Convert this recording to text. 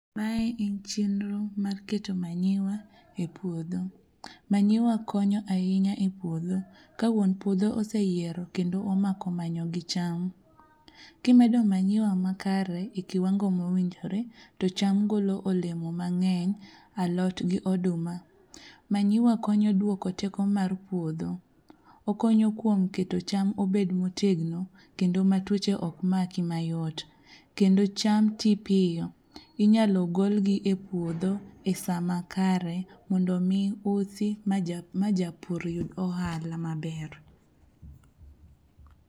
Mae en chenro mar keto manyiwa e puodho. Manyiwa konyo ahinya e puodho ka wuon puodho oseyiero kendo omako manyo gi cham. Kimedo manyiwa makare e kiwango mowinjore to cham golo olemo mang'eny alot gi oduma. Manyiwa konyo duoko teko mar puodho, okonyo kuom keto cham obed motegno kendo matuoche ok maki mayot. Kendo cham ti piyo, inyalo golgi e puodho e sa makare mondo omi usi ma japur yud ohala maber.